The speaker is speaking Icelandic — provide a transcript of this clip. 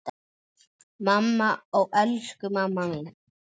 Mamma, ó elsku mamma mín.